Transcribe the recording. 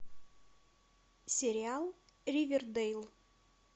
сериал ривердейл